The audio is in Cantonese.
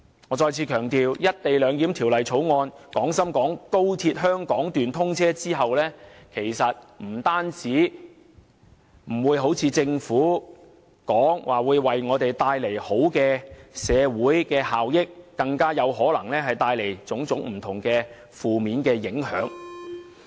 我再次強調，在廣深港高鐵香港段通車後，不單不會如政府所說為香港帶來好的社會效益，更可能會帶來種種不同的負面影響。